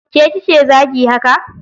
Ke kike zagi haka?